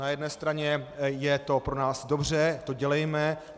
Na jedné straně je to pro nás dobře, to dělejme.